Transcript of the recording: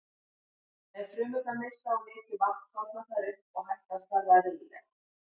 Ef frumurnar missa of mikið vatn þorna þær upp og hætt að starfa eðlilega.